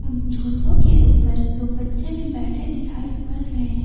उन झूलों के ऊपर दो बच्चे भी बैठे दिखाई पड़ रहे हैं।